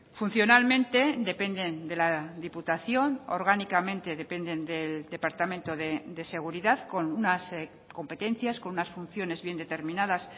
funcionalmente dependen de la diputación orgánicamente dependen del departamento de seguridad con unas competencias con unas funciones bien determinadas